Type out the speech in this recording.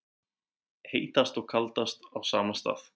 Heitast og kaldast á sama stað